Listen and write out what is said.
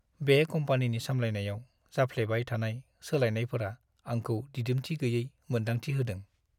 बे कम्पानिनि सामलायनायाव जाफ्लेबाय थानाय सोलायनायफोरा आंखौ दिदोमथि गैयै मोन्दांथि होदों।